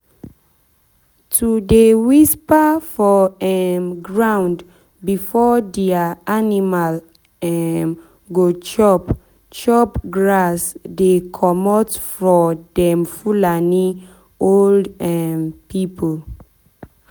to dey whisper for um ground before dia animal um go chop chop grass dey common for dem fulani old um pipu.